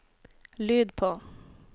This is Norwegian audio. lyd på